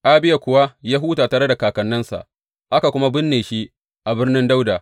Abiya kuwa ya huta tare da kakanninsa, aka kuma binne shi a Birnin Dawuda.